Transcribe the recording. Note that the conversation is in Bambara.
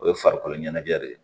O ye farikolo ɲɛnajɛ de ye